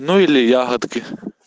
ну или ягодки